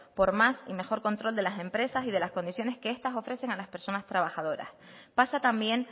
por más y mejor control de las empresas y de las condiciones que estas ofrecen a las personas trabajadores pasa también